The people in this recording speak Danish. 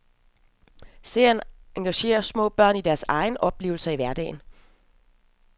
Serien engagerer små børn i deres egne oplevelser i hverdagen.